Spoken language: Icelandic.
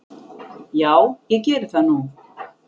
Já ég geri það nú.